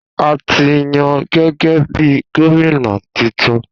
A tí yan gégé bí gómìnà titun